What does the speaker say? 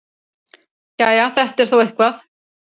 Jæja, þetta er þó eitthvað.